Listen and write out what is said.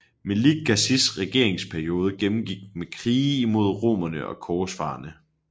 Melik Gazis regeringsperiode gennemgik med krige imod romerne og korsfarerne